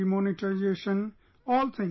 demonetisationall things